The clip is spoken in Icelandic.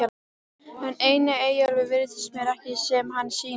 En einnig Eyjólfur virðist mér ekki sem hann sýnist.